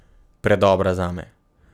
Predobra zame.